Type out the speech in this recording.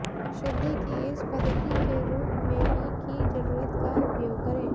शुद्धि की इस पद्धति के रूप में ही की जरूरत का उपयोग करें